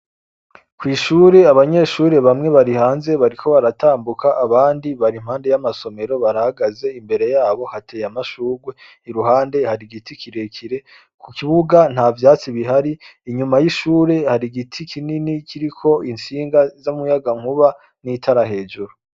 Kw'ishure abanyeshure bamwe bari hanze bariko baratambuka abandi bari impande y'amasomero barahagaze, imbere yabo hateye amashurwe, iruhande hari igiti kirekire. Ku kibuga nta vyatsi bihari, inyuma y'ishure hari igiti kinini kiriko intsinga z'umuyagankuba n'itara hejuru.